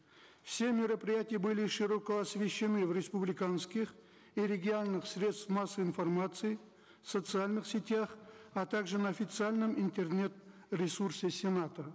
все мероприятия были широко освещены в республиканских и средствах массовой информации социальных сетях а также на официальном интернет ресурсе сената